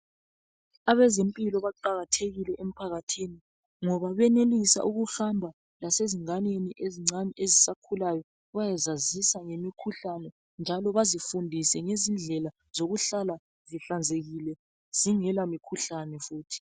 Abezimpilo baqakathekile emphakathini ngoba benelisa ukuhamba lasezinganeni ezincane ezisakhulayo njalo bayezazisa ngemikhuhlane njalo bazifundise ngezindlela zokuhlala zihlanzekile zingela mkhuhlane futhi.